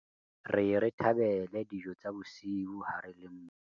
re ye re thabele dijo tsa bosiu ha re le mmoho